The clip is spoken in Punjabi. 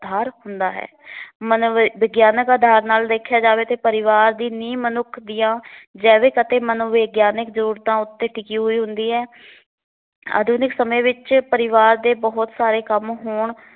ਆਧਾਰ ਹੁੰਦਾ ਹੈ। ਮਨੋ ਵਿਗਿਆਨਕ ਅਧਾਰ ਨਾਲ ਦੇਖਿਆਂ ਜਾਵੇ ਤੇ ਪਰਿਵਾਰ ਦੀ ਨੀਂਂਹ ਮਨੁੱਖ ਦੀਆਂ ਜੈਵਿਕ ਅਤੇ ਮਨੋਵਿਗਿਆਨਿਕ ਜ਼ਰੂਰਤਾ ਉੱਤੇ ਟਿਕੀ ਹੋਈ ਹੁੰਦੀ ਹੈ। ਆਧੁਨਿਕ ਸਮੇਂ ਵਿੱਚ ਪਰਿਵਾਰ ਦੇ ਬਹੁਤ ਸਾਰੇ ਕੰਮ ਹੋਣ